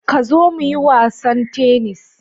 Ka zo muyi wasan tennis.